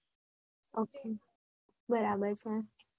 Okay બરાબર છે